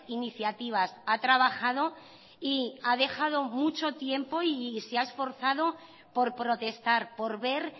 iniciativas ha trabajado y ha dejado mucho tiempo y se ha esforzado por protestar por ver